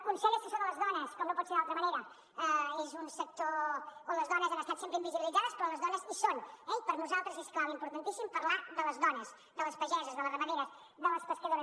consell assessor de les dones com no pot ser d’altra manera és un sector on les dones han estat sempre invisibilitzades però on les dones hi són eh i per nosaltres és clau i importantíssim parlar de les dones de les pageses de les ramaderes de les pescadores